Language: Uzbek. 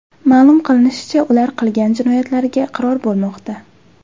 Ma’lum qilinishicha, ular qilgan jinoyatlariga iqror bo‘lmoqda.